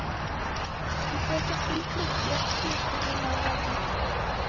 De søker tilflukt i et skur på grunn av regn.